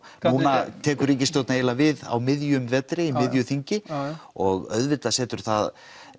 núna tekur ríkisstjórn við á miðjum vetri og í miðju þingi og auðvitað setur það